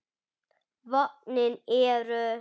Vötnin eru